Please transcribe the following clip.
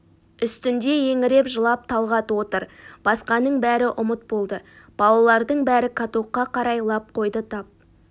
үстінде еңіреп жылап талғат отыр басқаның бәрі ұмыт болды балалардың бәрі катокқа қарай лап қойды тап